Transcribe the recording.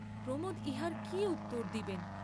প্রমোদ ইহার কি উত্তর দিবেন?